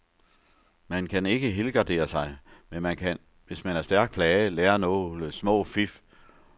Man kan ikke helgardere sig, men man kan, hvis man er stærkt plaget, lære nogle små fif.